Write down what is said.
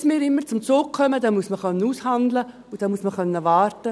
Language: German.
Denn bis wir jeweils zum Zug kommen, muss man aushandeln und warten können.